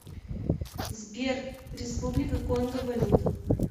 сбер республика конго валюта